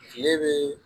Kile bɛ